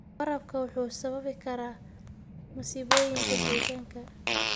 Waraabku wuxuu sababi karaa masiibooyinka deegaanka.